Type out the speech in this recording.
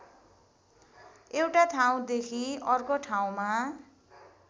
एउटा ठाउँदेखि अर्को ठाउँमा